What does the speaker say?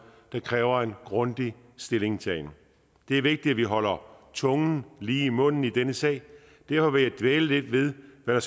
der kræver en grundig stillingtagen det er vigtigt at vi holder tungen lige i munden i denne sag derfor vil jeg dvæle lidt ved hvad